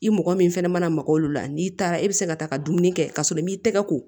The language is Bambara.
I mɔgɔ min fɛnɛ mana maga olu la n'i taara e bɛ se ka taa ka dumuni kɛ ka sɔrɔ i m'i tɛgɛ ko